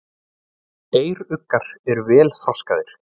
Eyruggar eru vel þroskaðir.